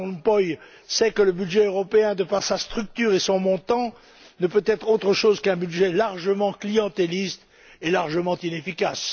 Van Rompuy sait que le budget européen, de par sa structure et son montant, ne peut être autre chose qu'un budget largement clientéliste et largement inefficace.